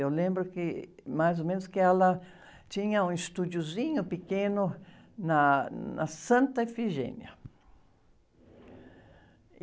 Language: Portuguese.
Eu lembro que, mais ou menos, que ela tinha um estúdiozinho pequeno na, na Santa Efigênia.